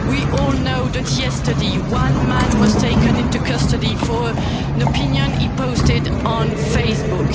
fake news. We all know that yesterday one man was taken into custody for an opinion he posted